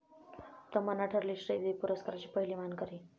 तमन्ना ठरली श्रीदेवी पुरस्काराची पहिली मानकरी!